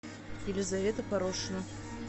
елизавета порошина